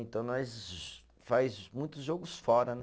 Então, nós faz muitos jogos fora, né?